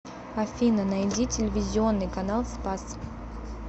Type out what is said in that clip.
афина найди телевизионный канал спас